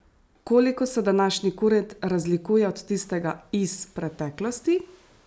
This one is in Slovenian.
Koliko se današnji kurent razlikuje od tistega iz preteklosti?